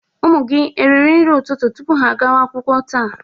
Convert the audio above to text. Ụmụ gị eriri nri ụtụtụ tupu ha agawa akwụkwọ taa?